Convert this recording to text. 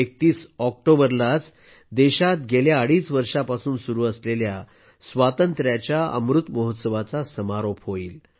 31 ऑक्टोबरलाच देशात गेल्या अडीच वर्षापासून सुरू असलेल्या स्वातंत्र्याच्या अमृत महोत्सवाचा समारोप होईल